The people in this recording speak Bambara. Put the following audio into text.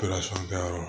yɔrɔ